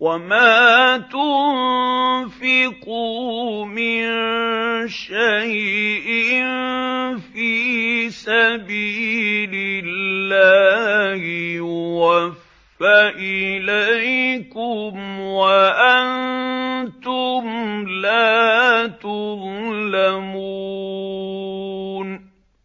وَمَا تُنفِقُوا مِن شَيْءٍ فِي سَبِيلِ اللَّهِ يُوَفَّ إِلَيْكُمْ وَأَنتُمْ لَا تُظْلَمُونَ